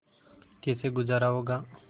कैसे गुजारा होगा